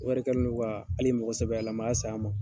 Wari kɛlen no ka hali mɔgɔsɛbɛlayama sa a ma.